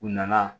U nana